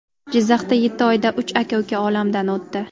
Jizzaxda yetti oyda uch aka-uka olamdan o‘tdi.